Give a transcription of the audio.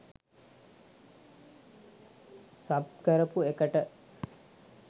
sub කරපු එකට